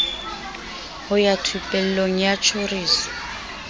ho ya thupelong ya tjhoriso